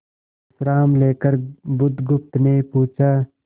विश्राम लेकर बुधगुप्त ने पूछा